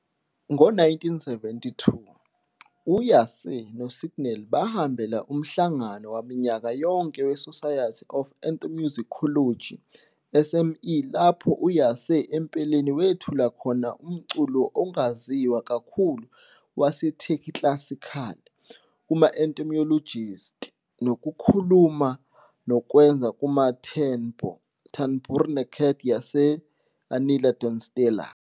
Ngo-1972, u-Yaşar no-Signell bahambela umhlangano waminyaka yonke we-Society for Ethnomusicology, SEM, lapho u-Yaşar empeleni wethula khona umculo ongaziwa kakhulu waseTurkey Classical kuma-ethnomusicologists ngokukhuluma nokwenza ku-tanbur Tanburi Necdet Yaşar- Anılar-Dostlar.